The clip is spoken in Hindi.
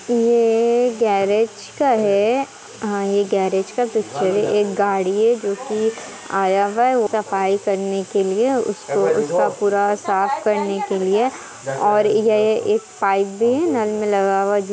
ये गेरेज का है हा ये गेरेज का पिक्चर है एक गाड़ी है जोकि आया हुआ है सफाई करने के लिए उसको उसका पूरा साफ करने के लिए और ये एक पाइप भी है नल में लगा हुआ।